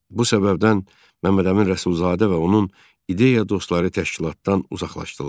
Bu səbəbdən Məmmədəmin Rəsulzadə və onun ideya dostları təşkilatdan uzaqlaşdılar.